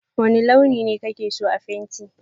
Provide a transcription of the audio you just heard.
wane launi ne ka ke so a fenti?